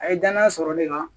A ye danaya sɔrɔ ne kan